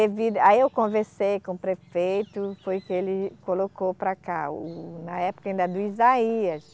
Aí eu conversei com o prefeito, foi que ele colocou para cá o, na época ainda do Isaías,